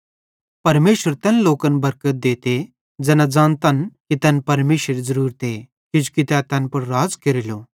परमेशर तैन लोकन बरकत देते ज़ैना ज़ानतन कि तैन परमेशरेरी ज़रूरते किजोकि तै तैन पुड़ राज़ केरेलो